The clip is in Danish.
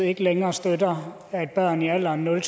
ikke længere støtter at børn i alderen nul